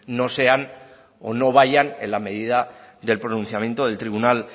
no sean o no vayan en la medida del pronunciamiento del tribunal